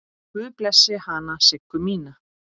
Guð blessi hana Siggu mína.